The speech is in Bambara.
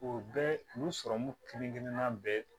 U bɛɛ u sɔrɔmu kelen kelenna bɛɛ